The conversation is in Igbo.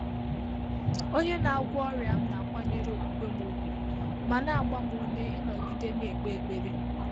Ọ́nyé nà-àgwọ́ ọ́rị́à m nà-àkwànyèré ókwúkwé m ùgwù mà nà-àgbá m úmé ị́nọ́gídé nà-ékpé ékpèré.